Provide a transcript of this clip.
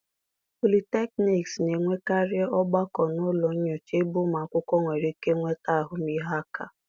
polytechnics na-enwekarị ogbako na ụlọ nyocha ebe ụmụ akwụkwọ nwere ike nweta ahụmịhe aka.